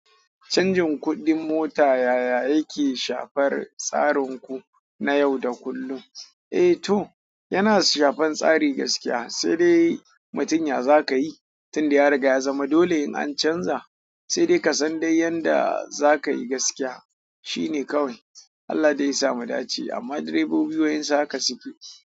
Canjin kuɗin mota yaya yake shafar tsarin ku na yau da kullum? Eh to, yana shafar tsari gaskiya. Sai dai mutun ya zakayi tunda ya riga ya zama dole in an canza. Sai dai ka san dai yanda za ka yi gaskiya shine kawai. Allah dai ya samu dace amma direbobi waƴansu haka suke.